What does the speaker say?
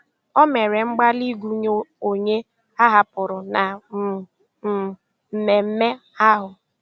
O mèrè mgbalị́ ịgụ́nyè ònyè áhàpụrụ́ na um um mmèmme ahụ́.